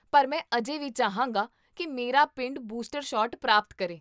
ਪਰ ਮੈਂ ਅਜੇ ਵੀ ਚਾਹਾਂਗਾ ਕੀ ਮੇਰਾ ਪਿੰਡ ਬੂਸਟਰ ਸ਼ਾਟ ਪ੍ਰਾਪਤ ਕਰੇ